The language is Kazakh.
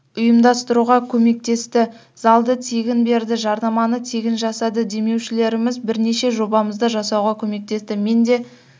ұйымдастыруға көмектесті залды тегін берді жарнаманы тегін жасады демеушілеріміз бірнеше жобамызды жасауға көмектесті мен де